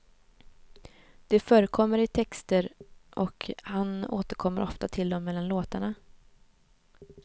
De förekommer i texter och han återkommer ofta till dem mellan låtarna.